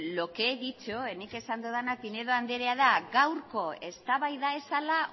lo que he dicho nik esan dudana pinedo andrea da gaurko eztabaida ez zela